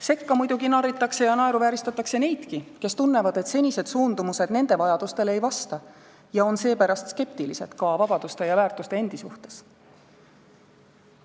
Sekka muidugi narritakse ja naeruvääristatakse neidki, kes tunnevad, et senised suundumused nende vajadustele ei vasta, ja kes on seepärast skeptilised ka vabaduste ja väärtuste endi suhtes.